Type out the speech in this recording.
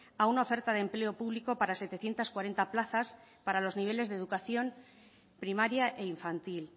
a una oferta de empleo público para setecientos cuarenta plazas para los niveles de educación primaria e infantil